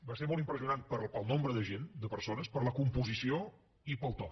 va ser molt impressionant pel nombre de gent de persones per la composició i pel to